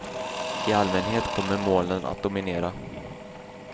I allmänhet kommer molnen att dominera.